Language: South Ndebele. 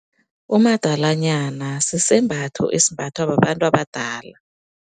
Umadalanyana sisembatho, esimbathwa babantu abadala.